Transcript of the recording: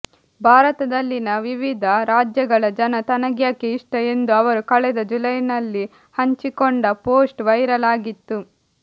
ಭಾರತದಲ್ಲಿನ ವಿವಿಧ ರಾಜ್ಯಗಳ ಜನ ತನಗ್ಯಾಕೆ ಇಷ್ಟ ಎಂದು ಅವರು ಕಳೆದ ಜುಲೈನಲ್ಲಿ ಹಂಚಿಕೊಂಡ ಪೋಸ್ಟ್ ವೈರಲ್ ಆಗಿತ್ತು